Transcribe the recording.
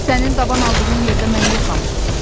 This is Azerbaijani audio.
Sənin daban aldığın yerdə mən yoxam,